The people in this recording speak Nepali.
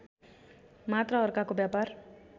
मात्र अर्काको व्यापार